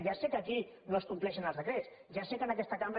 ja sé que aquí no es compleixen els decrets ja sé que en aquesta cambra